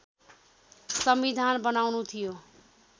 संविधान बनाउनु थियो